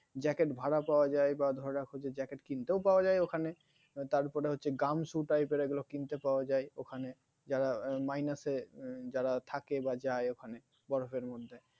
jacket ভাড়া পাওয়া যায় বা ধরে রাখো যে jacket কিনতেও পাওয়া যায় ওখানে তারপরে হচ্ছে gum shoe type এর এগুলো কিনতে পাওয়া যায় ওখানে যারা minus যারা থাকে বা যায় ওখানে বরফের মধ্যে